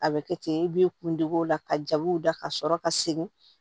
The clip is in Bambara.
A bɛ kɛ ten i b'i kundugu la ka jabiw da ka sɔrɔ ka segin